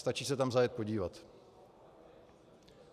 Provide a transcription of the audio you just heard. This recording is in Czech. Stačí se tam zajet podívat.